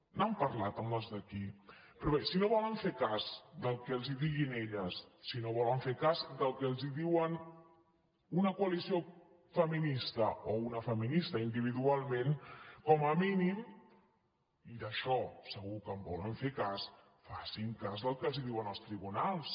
n’han parlat amb les d’aquí però bé si no volen fer cas del que els diguin elles si no volen fer cas del que els diuen una coalició feminista o una feminista individualment com a mínim i d’això segur que en volen fer cas facin cas del que els diuen els tribunals